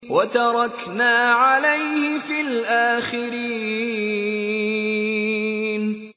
وَتَرَكْنَا عَلَيْهِ فِي الْآخِرِينَ